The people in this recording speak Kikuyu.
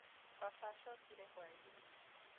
Baba acokire hwaĩ-inĩ.